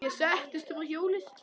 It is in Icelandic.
Ég settist upp á hjólið.